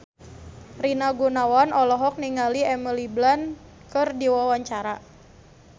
Rina Gunawan olohok ningali Emily Blunt keur diwawancara